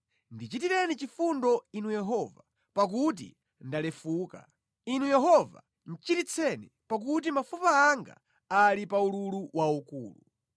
Ndichitireni chifundo Inu Yehova, pakuti ndalefuka; Inu Yehova chiritseni, pakuti mafupa anga ali pa ululu waukulu.